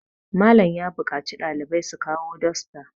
Malam ya buƙaci ɗalibai su kawo dosta